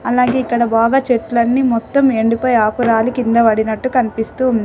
అలాగే ఇక్కడ బాగా చెట్లన్నీ మొత్తం ఎండిపోయి ఆకు రాలి కింద పడినట్టు కనిపిస్తూ ఉంది.